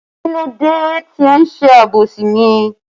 Kílódé tí ẹ ń ṣe àbòsí mi?